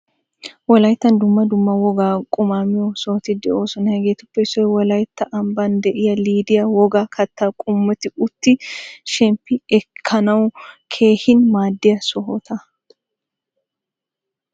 Wolayttan dumma dumma wogaa quma miyo sohoti deosona. Hageetuppe issoy wolaytta amban deiyaa lidyaa wogaa katta qommotti utti shemppi ekkanawu keehin maadiyaa sohotta.